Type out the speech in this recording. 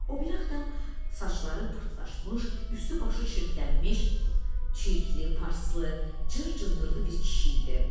O biri adam saçları pırtlaşmış, üstü-başı çirklənmiş, çirkli, paslı, cır-cındırlı bir kişi idi.